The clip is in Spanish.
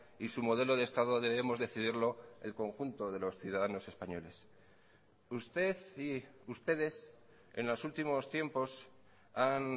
y su modelo de estado debemos decidirlo el conjunto de los ciudadanos españoles usted y ustedes en los últimos tiempos han